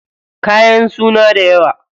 Kayan suna dayawa.